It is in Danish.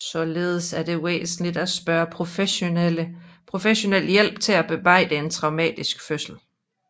Således er det væsentligt at søge professionel hjælp til at bearbejde en traumatisk fødsel